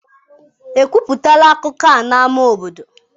Ekwupụtala akụkọ a n'ámá obodo?